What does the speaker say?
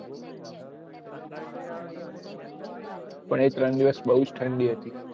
પણ એ ત્રણ દિવસ બહુજ ઠંડી હતી